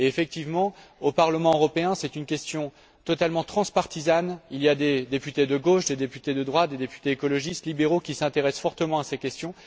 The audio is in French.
Effectivement, au Parlement européen, c'est une question totalement transpartisane. Il y a des députés de gauche, des députés de droite, des députés écologistes, libéraux qui s'intéressent fortement à ces questions.